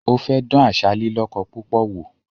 Ó fẹ́ dán àṣà “lílíkọ púpọ̀” wò